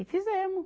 E fizemos.